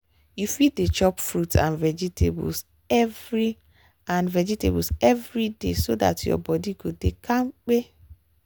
you fit dey chop fruit and vegetables every and vegetables every day so dat your body go dey kampe.